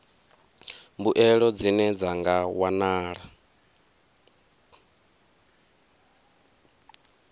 mbuelo dzine dza nga wanala